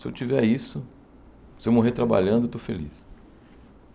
Se eu tiver isso, se eu morrer trabalhando, eu estou feliz.